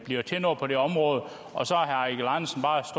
bliver til noget på det område